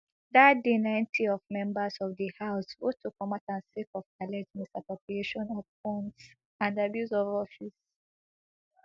dat day ninety of members of di house vote to comot am sake of alleged misappropriation of funds and abuse of office